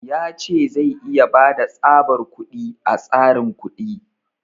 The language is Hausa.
Ya ce zai iya bada tsabar kuɗi a tsarin kuɗi.